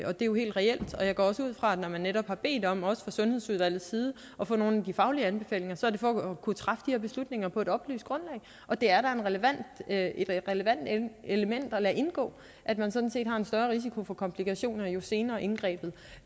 og det er jo helt reelt jeg går også ud fra at når man netop har bedt om også fra sundhedsudvalgets side at få nogle af de faglige anbefalinger så er det for at kunne træffe de her beslutninger på et oplyst grundlag og det er da et relevant element at lade indgå at man sådan set har en større risiko for komplikationer jo senere indgrebet